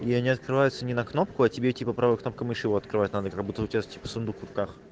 я не открываются не на кнопку а тебе типа правая кнопка мыши его открывает надо как будто у тебя типо сундук в руках